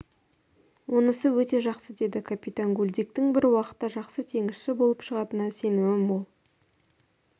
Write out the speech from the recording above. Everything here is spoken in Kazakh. онысы өте жақсы деді капитан гульдиктің бір уақытта жақсы теңізші болып шығатынына сенімім мол